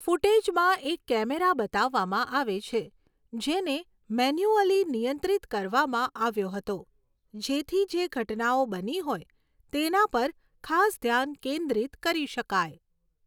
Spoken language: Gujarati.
ફૂટેજમાં એક કૅમેરા બતાવવામાં આવે છે, જેને મેન્યુઅલી નિયંત્રિત કરવામાં આવ્યો હતો જેથી જે ઘટનાઓ બની હોય તેના પર ખાસ ધ્યાન કેન્દ્રિત કરી શકાય.